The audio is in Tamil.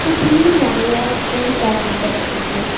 சுத்திலும் நிறைய ட்ரீஸ் எல்லாம் அமைக்கப்பட்டு இருக்கு.